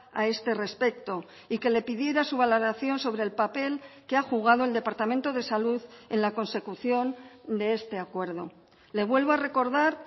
a este respecto y que le pidiera su valoración sobre el papel que ha jugado el departamento de salud en la consecución de este acuerdo le vuelvo a recordar